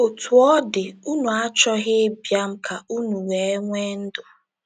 “Otú ọ dị, unu achọghị ịbịa m ka unu wee nwee ndụ.”